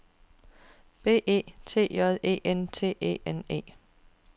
B E T J E N T E N E